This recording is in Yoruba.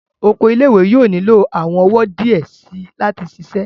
Oko ile-iwe yóò nilo awọn ọwọ diẹ sii lati ṣiṣẹ